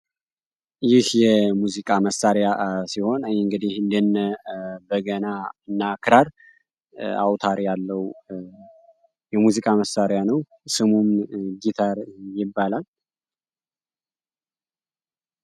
ይህ የሙዚቃ መሳሪያ ሲሆን ይህ እንግዲህ እንደነ በገና እና ክራር አውታር ያለው ያለው የሚዚቃ መሳሪያ ነው ስሙም ጊታር ይባላል።